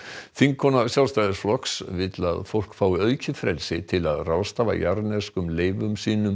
þingkona Sjálfstæðisflokks vill að fólk fái aukið frelsi til að ráðstafa jarðneskum leifum sínum